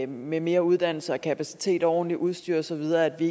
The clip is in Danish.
med mere uddannelse kapacitet og ordentligt udstyr og så videre vi